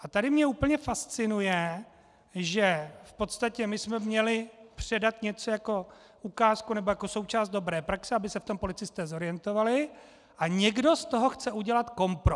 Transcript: A tady mě úplně fascinuje, že v podstatě my jsme měli předat něco jako ukázku nebo jako součást dobré praxe, aby se v tom policisté zorientovali, a někdo z toho chce udělat kompro.